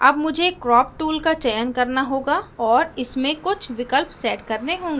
अब मुझे crop tool का चयन करना होगा और इसमें कुछ विकल्प set करने होंगे